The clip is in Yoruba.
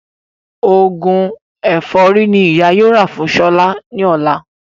Òògùn ẹ̀fọ́rí ní ìyá yóò rà fún Ṣọlá ní ọ̀la